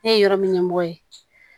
Ne ye yɔrɔ min ɲɛmɔgɔ ye